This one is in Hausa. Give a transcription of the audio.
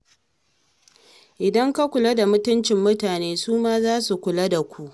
In ka kula da mutuncin mutane, su ma za su kula da ku.